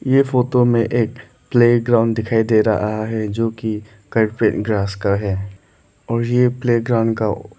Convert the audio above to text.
ये फोटो में एक प्लेग्राउंड दिखाई दे रहा है जो की कारपेट ग्रास का है और ये प्लेग्राउंड का--